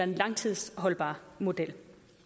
langtidsholdbar model